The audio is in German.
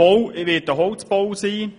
Es wird einen Holzbau geben.